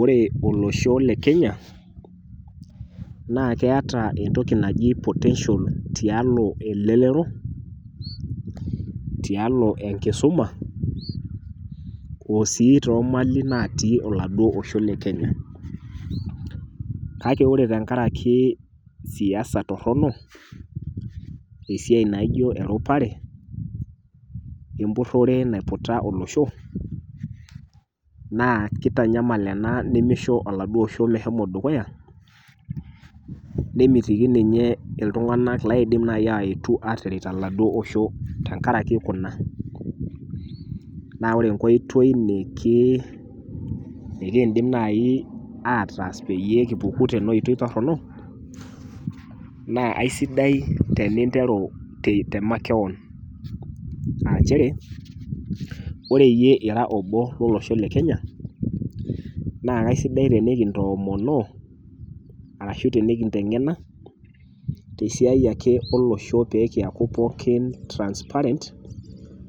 Ore olosho le Kenya naa keata entoki naji potential tialo elelero tialo enkisoma oosii toomali naatii oladuo osho le Kenya. Kake ore tengaraki siasa torrono esiai naijo eropare, wempurrore naiputa olosho, naa keitanyamal ena nemeisho oladuo osho meshomo dukuya nemetiki ninye iltung'anak laaidim nai aetu ataret oladuo osho tengaraki kuna. Naa ore enkoitoi nikiindim naai aatas peyie kipuku tena oitoi torrono naa aisidai teninteru temakewon aa nchere oreiye ira obo lolosho le Kenya naa kaisidai tenekintoomonoo arashu tinikinteng'ena tesiai ake olosho pee kiaku pookin transparent